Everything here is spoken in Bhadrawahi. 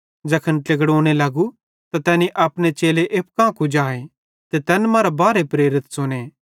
ज़ैखन ट्लेकड़ोने लगू त तैनी अपने चेले एप्पू कां कुजाए ते तैन मरां बारहे प्रेरित च़ुने